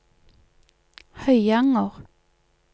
Høyanger